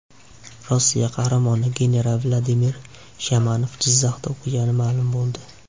Rossiya qahramoni general Vladimir Shamanov Jizzaxda o‘qigani ma’lum bo‘ldi.